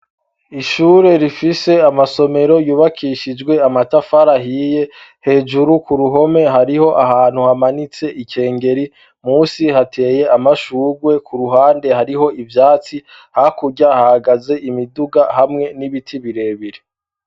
Ishure rifise amasomero ryubakishijwe amatafari ihiye, hejuru ku ruhome hariho ahantu hamanitse ikengeri musi hateye amashurwe, ku ruhande hariho ivyatsi hakurya hahagaze imiduga hamwe n'ibiti birebire.